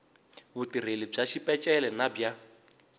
vutirheli bya xipeceli na bya